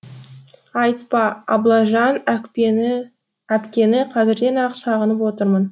айтпа аблажан әпкені қазірден ақ сағынып отырмын